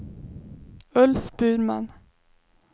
Ulf Burman